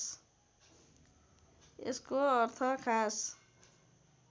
यसको अर्थ खास